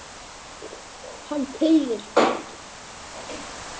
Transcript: Hann þegir.